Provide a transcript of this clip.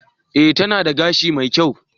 E, tana da gashi mai kyau.